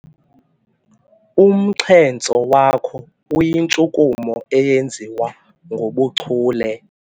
Umxhentso wakho uyintshukumo eyenziwa ngobuchule.